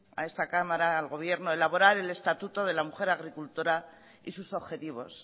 a esta cámara al gobierno elaborar el estatuto de la mujer agricultora y sus objetivos